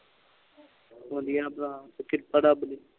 ਵਧੀਆ ਭਰਾ ਕਿਰਪਾ ਰੱਬ ਦੀ